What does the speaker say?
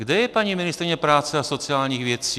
Kde je paní ministryně práce a sociálních věcí?